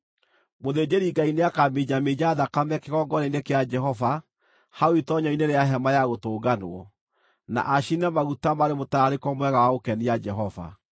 Mũthĩnjĩri-Ngai nĩakaminjaminja thakame kĩgongona-inĩ kĩa Jehova hau itoonyero-inĩ rĩa Hema-ya-Gũtũnganwo, na acine maguta marĩ mũtararĩko mwega wa gũkenia Jehova.